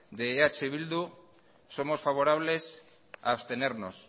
de eh bildu somos favorables a abstenernos